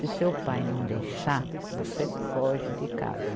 Se seu pai não deixar, você foge de casa.